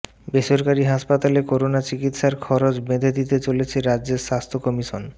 বেসরকারি হাসপাতালে করোনা চিকিৎসার খরচ বেঁধে দিতে চলেছে রাজ্যের স্বাস্থ্য কমিশন